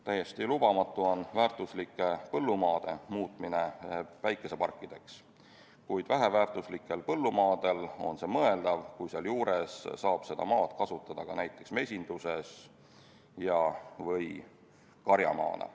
Täiesti lubamatu on väärtuslike põllumaade muutmine päikeseparkideks, kuid väheväärtuslikel põllumaadel on see mõeldav, kui sealjuures saab seda maad kasutada ka näiteks mesinduses või karjamaana.